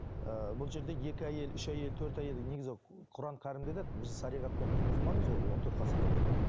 ііі бұл жерде екі әйел үш әйел төрт әйел негізі құран кәрімде де біздің шариғатпен біз мұсылманбыз ғой он төрт ғасырдан бері